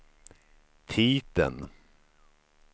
titeln